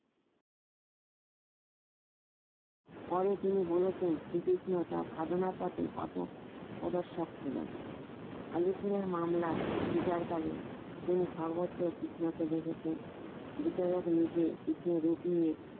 পরে তিনি বলেছেন শ্রীকৃষ্ণ তার সাধনার পথে পথও প্রদর্শক ছিলেন আলিপুরের মামলায় বিচারকালে তিনি সর্বত কৃষ্ণকে দেখেছেন বিচারক নিজেই কৃষ্ণর রূপ নিয়ে